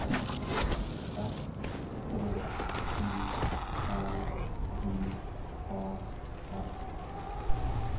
S K I L J A S